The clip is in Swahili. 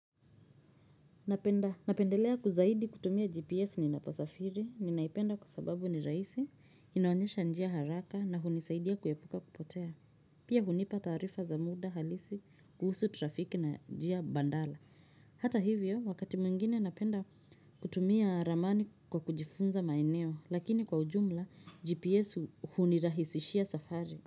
Napenda, napendelea zaidi kutumia gps ninaposafiri. Ninaipenda kwa sababu ni rahisi inaonyesha njia haraka na hunisaidia kuepuka kupotea pia hunipa taarifa za muda halisi kuhusu trafiki na njia badala hata hivyo wakati mwingine napenda kutumia ramani kwa kujifunza maeneo lakini kwa ujumla gps hunirahisishia safari.